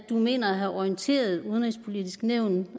mener at have orienteret det udenrigspolitiske nævn